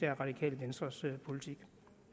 radikale venstres politik